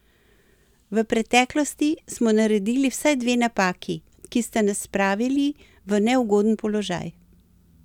V preteklosti smo naredili vsaj dve napaki, ki sta nas spravili v neugoden položaj.